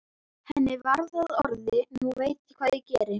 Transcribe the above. Henni varð að orði: Nú veit ég hvað ég geri!